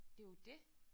Det jo det